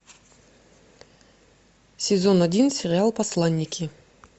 сезон один сериал посланники